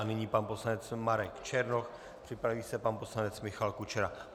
A nyní pan poslanec Marek Černoch, připraví se pan poslanec Michal Kučera.